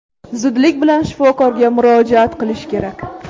Zudlik bilan shifokorga murojaat qilish kerak.